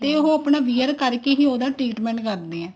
ਤੇ ਉਹ wear ਕਰਕੇ ਹੀ ਉਹਦਾ treatment ਕਰਦੇ ਆ